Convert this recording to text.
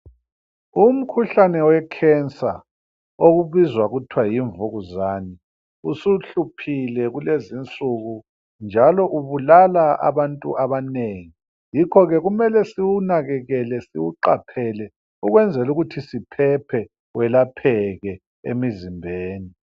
Umkhuhlane wecancer okubizwa kuthwe yimvukuzane usuhluphile kulezi insuku njalo kubulala abantu abanengi yikhoke kumele siwunakekele ukwenzela ukuthi welapheke emizimbeni.